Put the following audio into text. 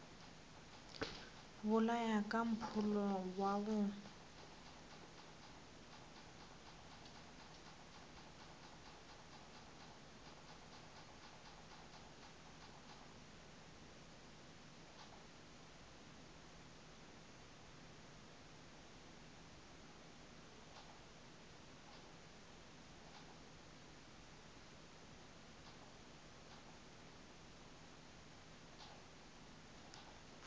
bolaya ka mpholo wa go